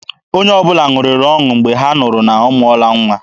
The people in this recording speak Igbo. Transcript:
Onye ọbụla ṅụrịrị ọṅụ Mgbe ha nụrụ na ọ mụọla nwa.